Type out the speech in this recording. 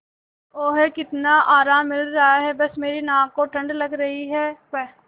ओह कितना आराम मिल रहा है बस मेरी नाक को ठंड लग रही है प्